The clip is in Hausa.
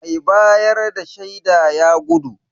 Mai bayar da shaida ya gudu.